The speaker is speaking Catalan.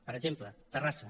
per exemple terrassa